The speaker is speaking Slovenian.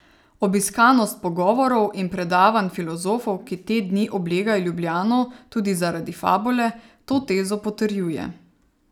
Obiskanost pogovorov in predavanj filozofov, ki te dni oblegajo Ljubljano tudi zaradi Fabule, to tezo potrjuje.